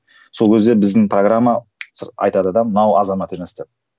сол кезде біздің программа айтады да мынау азамат емес деп